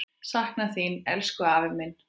Sakna þín, elsku afi minn.